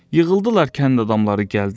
Yığıldılar kənd adamları gəldilər.